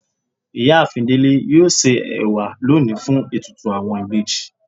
Iyaafin Dele yóò se ewa loni fun etùtù awọn ìbejì